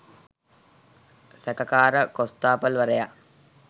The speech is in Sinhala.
සැකකාර කොස්‌තාපල්වරයා